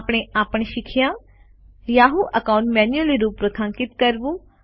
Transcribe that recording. આપણે આ પણ શીખ્યા યાહૂ એકાઉન્ટ મેન્યુલી રૂપરેખાંકિત કરવું